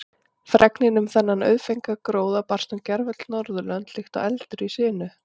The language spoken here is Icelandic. Fregnin um þennan auðfengna gróða barst um gervöll Norðurlönd líkt og eldur í sinu.